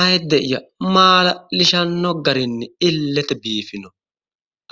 Ayiide'ya maala'lishanno garinni illete biifino.